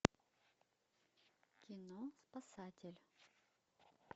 кино спасатель